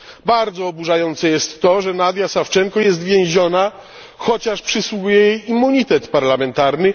Bardzo oburzające jest to, że Nadia Sawczenko jest więziona, chociaż przysługuje jej immunitet parlamentarny.